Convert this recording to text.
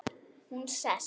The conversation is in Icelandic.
Hún sest.